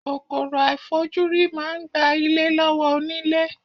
Kòkòrò àìfojúrí máa ń gba ilé lọ́wọ́ onílé.